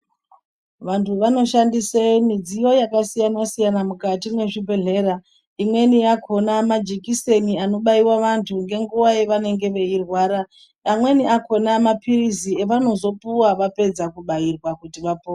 Vantu vanoshandise midziyo yakasiyana-siyana mukati mezvibhedhlera. Imweni yakhona majekiseni anobaiwa vantu ngenguwa yevanenge veirwara, amweni acho akhona, maphiritsi avanozopihwa vapedza kubaiwa kuti vapore.